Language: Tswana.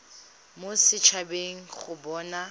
mo set habeng go bona